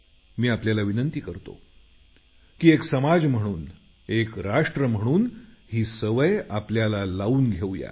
मी आपल्याला विनंती करतो की एक समाज म्हणून एक राष्ट्र म्हणून आपण ही सवय आपल्याला लावून घेऊ या